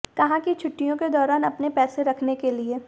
कहाँ की छुट्टियों के दौरान अपने पैसे रखने के लिए